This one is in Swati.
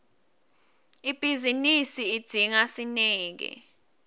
ibhizinisi idzinga sineke